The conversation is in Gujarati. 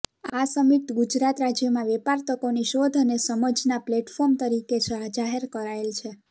આ સમિટ ગુજરાત રાજ્યમાં વેપાર તકોની શોધ અને સમજના પ્લેટફોર્મ તરીકે જાહેર કરાયેલ છે